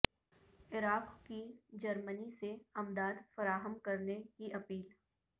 عراق کی جرمنی سے امداد فراہم کرنے کی اپیل